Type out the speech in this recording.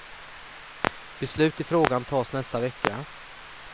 Beslut i frågan tas nästa vecka.